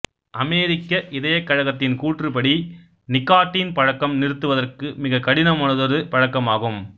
அமெரிக்க இதயக் கழகத்தின் கூற்றுப்படி நிக்காட்டீன் பழக்கம் நிறுத்துவதற்கு மிகக் கடினமானதொரு பழக்கம் ஆகும்